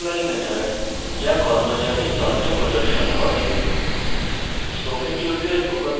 এবং printemployee method যা কর্মচারীর তথ্য প্রদর্শন করে